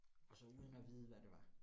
Og så uden at vide, hvad det var